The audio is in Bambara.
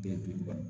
Den dɔɔnin